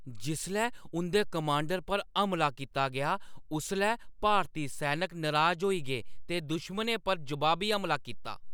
जिसलै उंʼदे कमांडर पर हमला कीता गेआ उसलै भारती सैनक नराज होई गे ते दुश्मनें पर जवाबी हमला कीता ।